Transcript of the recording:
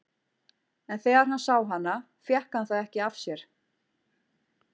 En þegar hann sá hana fékk hann það ekki af sér.